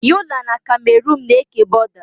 Yọla na Kamerun na-eke bọda.